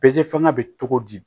fanga bɛ cogo di